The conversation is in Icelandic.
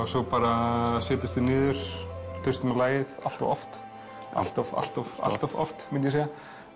svo bara setjumst við niður og hlustum á lagið allt of oft allt of allt of allt of oft myndi ég segja